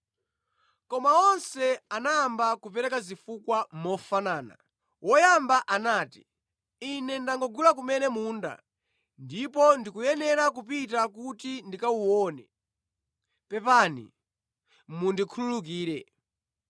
“Koma onse anayamba kupereka zifukwa mofanana. Woyamba anati, ‘Ine ndangogula kumene munda, ndipo ndikuyenera kupita kuti ndikawuone. Pepani mundikhululukire.’